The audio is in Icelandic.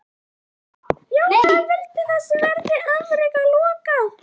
Jóhann: Viljið þið að þessu verði alfarið lokað?